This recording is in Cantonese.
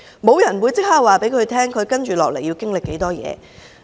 沒有人會即時告訴她接不來會經歷多少事。